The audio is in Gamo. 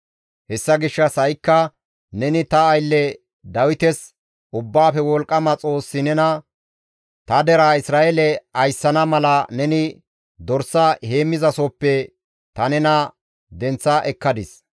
«Hessa gishshas ha7ikka neni ta aylle Dawites, Ubbaafe Wolqqama Xoossi nena, ‹Ta deraa Isra7eele ayssana mala neni dorsa heemmizasohoppe ta nena denththa ekkadis.